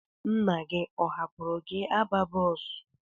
Nna gị ọ hapụrụ gị aba bọọsụ?